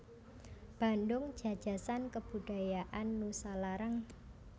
Bandung Jajasan Kebudajaan Nusalarang